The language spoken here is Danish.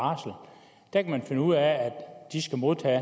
der kan man finde ud af at de skal modtage